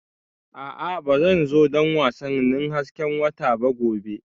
A'a Ba zan zo don wasannin hasken wata ba gobe